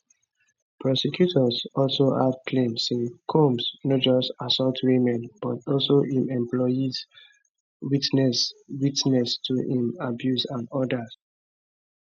prosecutors also add claim say comb no just assault women but also im employees witnesses witnesses to im abuse and odas